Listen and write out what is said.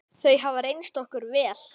Þau hafa reynst okkur vel.